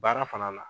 Baara fana na